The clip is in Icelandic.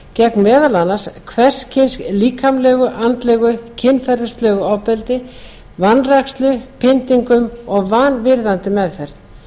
gegn meðal annars hvers kyns líkamlegu andlegu og kynferðislegu ofbeldi vanrækslu pyndingum og vanvirðandi meðferð